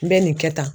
N bɛ nin kɛ tan